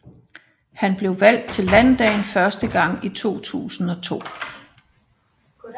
Han blev valgt til landdagen første gang i 2002